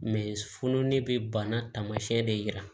fununen bɛ bana taamasiyɛn de yira